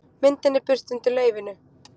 myndin er birt undir leyfinu